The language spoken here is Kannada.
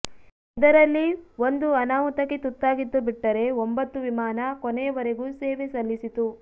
ಇದರಲ್ಲಿ ಒಂದು ಅನಾಹುತಕ್ಕೆ ತುತ್ತಾಗಿದ್ದು ಬಿಟ್ಟರೆ ಒಂಬತ್ತು ವಿಮಾನ ಕೊನೆಯವರೆಗೂ ಸೇವೆ ಸಲ್ಲಿಸಿತು